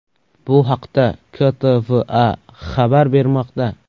Bu haqda KTVA xabar bermoqda .